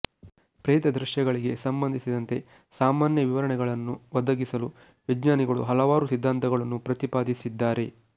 ಪ್ರೇತ ದೃಶ್ಯಗಳಿಗೆ ಸಂಬಂಧಿಸಿದಂತೆ ಸಾಮಾನ್ಯ ವಿವರಣೆಗಳನ್ನು ಒದಗಿಸಲು ವಿಜ್ಞಾನಿಗಳು ಹಲವಾರು ಸಿದ್ಧಾಂತಗಳನ್ನು ಪ್ರತಿಪಾದಿಸಿದ್ದಾರೆ